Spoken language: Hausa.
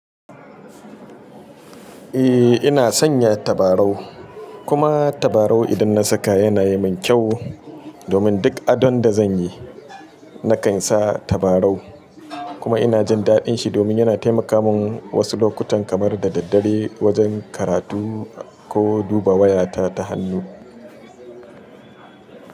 Eh ina sanya tabarau kuma tabarau idan na saka yana yi min kyau. Domin duk adon da zanyi na kan sa tabarau kuma ina jin daɗin shi domin yana taimaka mun wasu lokutan kamar da daddare wajen karatu ko duba wayata ta hannu.